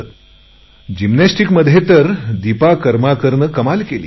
ऑलिम्पिकमध्ये जिमनॅस्टिमध्ये दीपा कर्माकरने तर कमाल केली